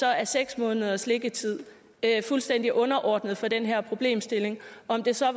er seks måneders liggetid fuldstændig underordnet for den her problemstilling om det så